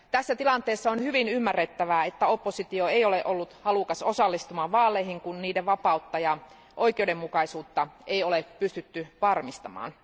Tässä tilanteessa on hyvin ymmärrettävää, että oppositio ei ole ollut halukas osallistumaan vaaleihin, kun niiden vapautta ja oikeudenmukaisuutta ei ole pystytty varmistamaan.